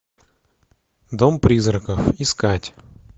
дом призраков искать